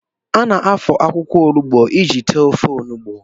A na-afọ akwụkwọ olugbo iji tee ofe olugbo